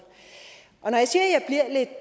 når